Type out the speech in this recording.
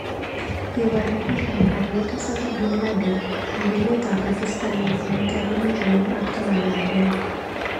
Kibar ribik ab kaliet Osama Binladen eng emet ab Pakistan eng kenyit ab elipu aeng ak taman agenge.